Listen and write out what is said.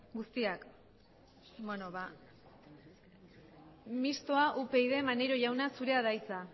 guztiak mistoa upyd maneiro jauna zurea da hitza